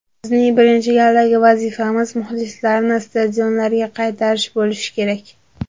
Bizning birinchi galdagi vazifamiz muxlislarni stadionlarga qaytarish bo‘lishi kerak.